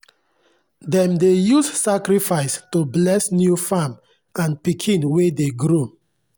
dem dey use sacrifices to bless new farm and pikin wey dey grow.